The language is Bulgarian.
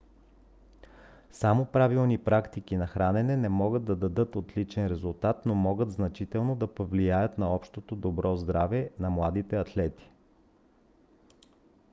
само правилни практики на хранене не могат да дадат отличен резултат но могат значително да повлияят на общото добро здраве на младите атлети